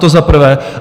To za prvé.